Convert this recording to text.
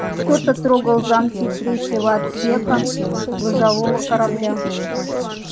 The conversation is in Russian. кто-то трогал замки третьего отсека грузового корабля